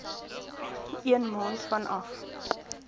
een maand vanaf